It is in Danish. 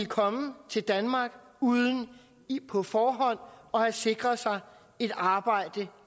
komme til danmark uden på forhånd at have sikret sig et arbejde